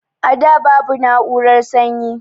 A da babu na'urar sanyi